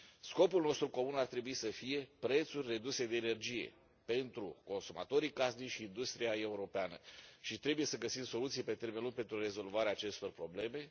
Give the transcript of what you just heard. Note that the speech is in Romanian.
Scopul nostru comun ar trebui să fie prețuri reduse de energie pentru consumatorii casnici și industria europeană și trebuie să găsim soluții pe termen lung pentru rezolvarea acestor probleme.